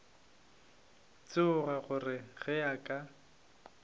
tšhoga gore ge a ka